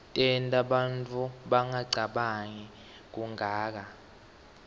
tenta bantfu bangacabangi kuganga